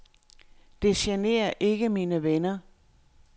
Det generer ikke mine venner.